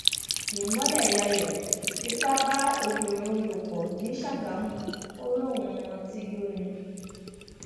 ìmọlẹyàyò fipá bá obìnrin lò pọ̀ ní sàgámù ò lóun mutí yó ni